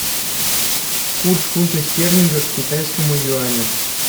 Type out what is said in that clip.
курс фунта стерлинга к китайскому юаню